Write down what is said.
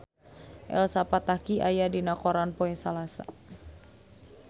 Elsa Pataky aya dina koran poe Salasa